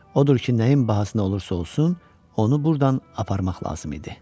Odur ki, nəyin bahasına olursa olsun, onu burdan aparmaq lazım idi.